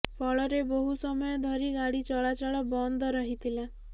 ଫଳରେ ବହୁ ସମୟ ଧରି ଗାଡ଼ି ଚଳାଚଳ ବନ୍ଦ ରହିଥିଲା